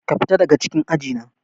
Ka fita daga cikin aji na.